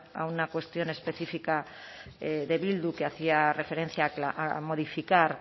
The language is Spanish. a una cuestión específica de bildu que hacía referencia a modificar